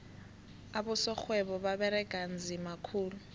abosorhwebo baberega nzima khulu